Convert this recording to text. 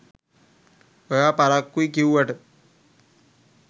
ඔයා පරක්කුයි කිව්වට